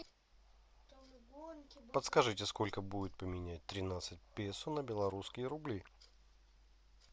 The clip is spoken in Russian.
подскажите сколько будет поменять тринадцать песо на белорусские рубли